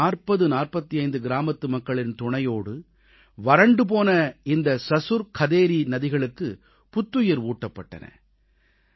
சுமார் 4045 கிராமத்து மக்களின் துணையோடு வறண்டு போன இந்த சசுர் கதேரீ ஆறுகளுக்குப் புத்துயிர் ஊட்டப்பட்டன